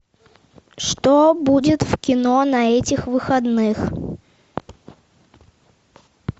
что будет в кино на этих выходных